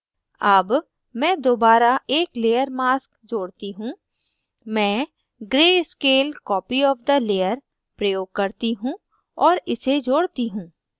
add मैं दोबारा एक layer mask जोड़ती हूँ मैं gray scale copy of the layer प्रयोग करती हूँ और इसे जोड़ती हूँ